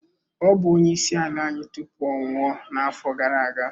Ọ bụ onyeisiala anyị tupu ọ nwụọ n'afọ gara aga.